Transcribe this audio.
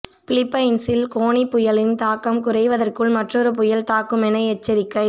பிலிப்பைன்ஸில் Goni புயலின் தாக்கம் குறைவதற்குள் மற்றொரு புயல் தாக்குமென எச்சரிக்கை